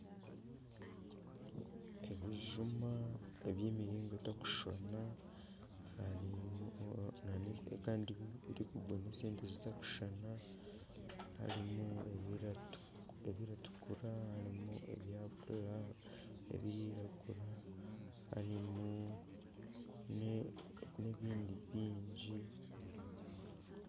Ebijuma eby'emiringo etarikushushana kandi birikugura sente zitari kushushana harimu ebirikutukura harimu ebirikwiragura ,harimu n'ebindi bingi.